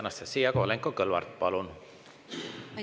Anastassia Kovalenko-Kõlvart, palun!